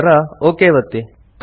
ನಂತರ ಒಕ್ ಒತ್ತಿ